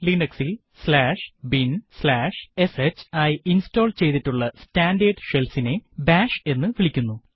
Linux ൽ binsh ആയി install ചെയ്യ്തിട്ടുള്ള സ്റ്റാൻഡേർഡ് shell ഇനെ ബാഷ് എന്ന് വിളിക്കുന്നു